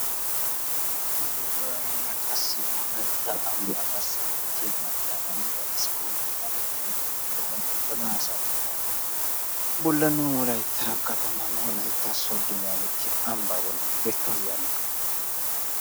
hagee waanna qassi wolaytta ambbaa garssan beettiya macca na'iya discover yaagettiya motoriya bollan uttada ha saatiya bollan nu wolaytta kataman wolaytta sodo yaagettiya ambbaa bollan beettawusu yaagiyoga.